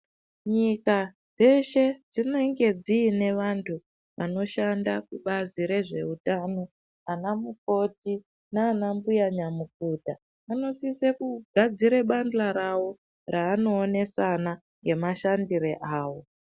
Nyika dzeshe dzinenge dzine vanthu vanoshanda kubazi rezveutano ana mukoti nana mbuya nyamukuta vanosise kugadzire bandla ravo raanoonesana ngemashandire awo.